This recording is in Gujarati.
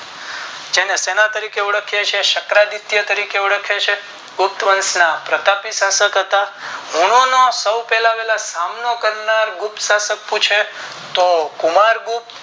જેને શેના તરીકે ઓળખીયે છીએ શુક્ર આદિત્ય તરીકે ઓળખીયે છીએ ગુપ્ત વંશ ના પ્રતાપી રાજા હુંનો નો પહેલોવહેલો સામનો કરનાર ગુપ્ત શાશક પૂછે તો કુમાર ગુપ્ત